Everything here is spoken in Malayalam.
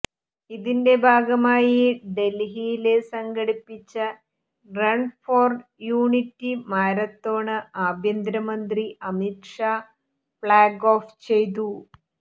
ഇതിന്റെ ഭാഗമായി ഡല്ഹിയില് സംഘടിപ്പിച്ച റണ് ഫോര് യൂണിറ്റി മാരത്തോണ് ആഭ്യന്തരമന്ത്രി അമിത് ഷാ ഫ്ളാഗ് ഓഫ് ചെയ്തു